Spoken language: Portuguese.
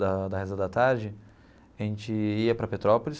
Da da reza da tarde, a gente ia para Petrópolis.